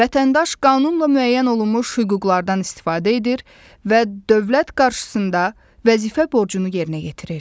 Vətəndaş qanunla müəyyən olunmuş hüquqlardan istifadə edir və dövlət qarşısında vəzifə borcunu yerinə yetirir.